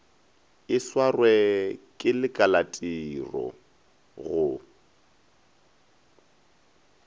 e swarwe ke lekalatiro go